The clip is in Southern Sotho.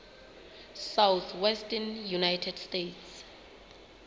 southwestern united states